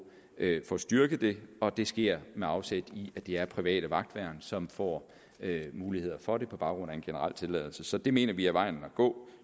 at få styrket det og det sker med afsæt i at det er private vagtværn som får muligheder for det på baggrund af en generel tilladelse så det mener vi er vejen at gå